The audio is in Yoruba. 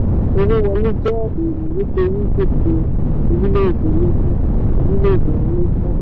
owó wọlé jẹ́ èrò nítorí gbèsè orílẹ̀-èdè ń lékún. orílẹ̀-èdè ń lékún.